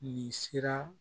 Nin sira